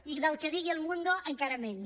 i del que digui el mundo encara menys